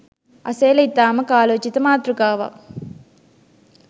අසේල ඉතාම කාලෝචිත මාතෘකාවක්